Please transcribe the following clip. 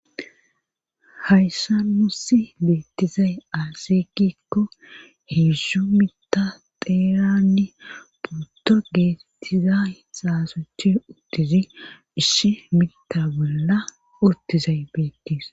Hayssa mussi beettizay asekikko heeszhzu mita xeeranne puto geettizasaasuchi uttizi ishi mita bolla uttizay beettis